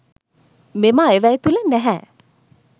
මෙම අයවැය තුළ නැහැ.